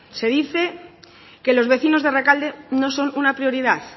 se dice que los vecinos de rekalde no son una prioridad